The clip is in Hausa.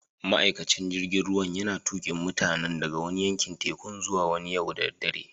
Ma'aikacin jirigin ruwan yana tukin mutanin daga wani yankin tekun zuwa wani yau da dare.